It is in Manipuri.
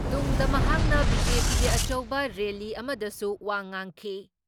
ꯇꯨꯡꯗ, ꯃꯍꯥꯛꯅ ꯕꯤ.ꯖꯦ.ꯄꯤꯒꯤ ꯑꯆꯧꯕ ꯔꯦꯜꯂꯤ ꯑꯃꯗꯁꯨ ꯋꯥ ꯉꯥꯡꯈꯤ ꯫